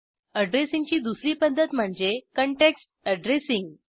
अॅड्रेसिंगची दुसरी पध्दत म्हणजे काँटेक्स्ट अॅड्रेसिंग